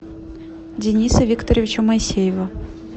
дениса викторовича моисеева